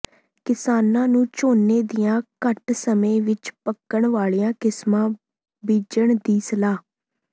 ਕਿਸਾਨਾਂ ਨੂੰ ਝੋਨੇ ਦੀਆਂ ਘੱਟ ਸਮੇਂ ਵਿੱਚ ਪੱਕਣ ਵਾਲੀਆਂ ਕਿਸਮਾਂ ਬੀਜਣ ਦੀ ਸਲਾਹ